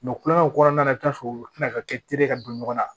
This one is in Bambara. kulonkɛw kɔnɔna na i bi t'a sɔrɔ u tina ka kɛ ka don ɲɔgɔn na